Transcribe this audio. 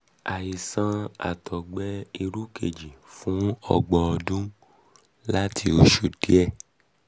mo ní àìsàn àtọ̀gbẹ-irúfẹ́ kejì fún ọgbọ̀n ọdún àti oṣù díẹ̀